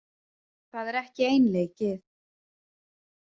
Það er ekki einleikið.